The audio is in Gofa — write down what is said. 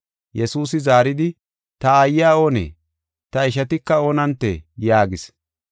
Yesuusi zaaridi, “Ta aayiya oonee? Ta ishatika oonantee?” yaagis.